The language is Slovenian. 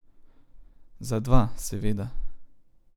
Za dva, seveda.